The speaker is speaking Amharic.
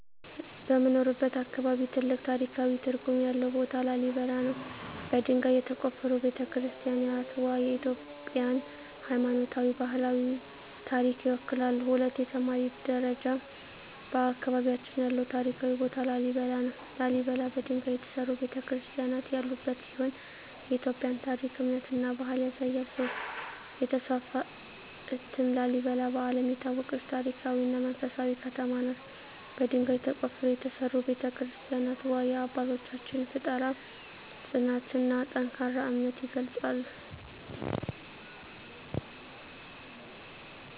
በምኖርበት አካባቢ ትልቅ ታሪካዊ ትርጉም ያለው ቦታ ላሊበላ ነው። በድንጋይ የተቆፈሩ ቤተ-ክርስቲያናትዋ የኢትዮጵያን ሃይማኖታዊና ባህላዊ ታሪክ ይወክላሉ። 2) የተማሪ ደረጃ በአካባቢያችን ያለው ታሪካዊ ቦታ ላሊበላ ነው። ላሊበላ በድንጋይ የተሠሩ ቤተ-ክርስቲያናት ያሉበት ሲሆን የኢትዮጵያን ታሪክ፣ እምነትና ባህል ያሳያል። 3) የተስፋፋ እትም ላሊበላ በዓለም የታወቀች ታሪካዊ እና መንፈሳዊ ከተማ ናት። በድንጋይ ተቆፍረው የተሠሩ ቤተ-ክርስቲያናትዋ የአባቶቻችንን ፍጠራ፣ ጽናትና ጠንካራ እምነት ይገልጻሉ።